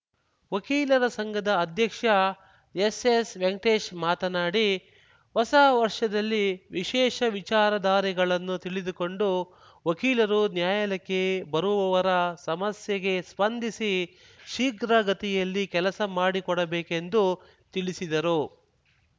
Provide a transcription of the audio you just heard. ವಕೀಲರ ಸಂಘದ ಅಧ್ಯಕ್ಷ ಎಸ್‌ಎಸ್‌ ವೆಂಕಟೇಶ್‌ ಮಾತನಾಡಿ ಹೊಸ ವರ್ಷದಲ್ಲಿ ವಿಶೇಷ ವಿಚಾರ ಧಾರೆಗಳನ್ನು ತಿಳಿದುಕೊಂಡು ವಕೀಲರು ನ್ಯಾಯಾಲಯಕ್ಕೆ ಬರುವವರ ಸಮಸ್ಯೆಗೆ ಸ್ಪಂದಿಸಿ ಶೀಘ್ರಗತಿಯಲ್ಲಿ ಕೆಲಸ ಮಾಡಿಕೊಡಬೇಕೆಂದು ತಿಳಿಸಿದರು